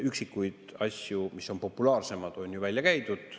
Üksikuid asju, mis on populaarsemad, on ju välja käidud.